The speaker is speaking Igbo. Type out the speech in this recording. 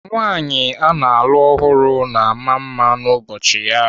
Nwaanyị ana alụ ọhụrụ na ama mma n'ụbọchị ya.